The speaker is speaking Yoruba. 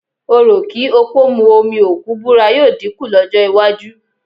Orò kí òpó mu omi òkú búra yóò dínkù lọ́jọ́ iwájú